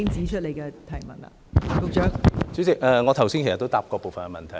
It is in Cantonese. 代理主席，我剛才也答過部分問題。